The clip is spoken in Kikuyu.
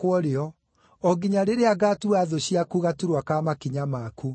o nginya rĩrĩa ngaatua thũ ciaku gaturwa ka makinya maku.” ’